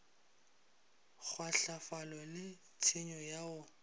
kgwahlafalo le tshenyo ya go